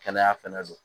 Kɛnɛya fɛnɛ don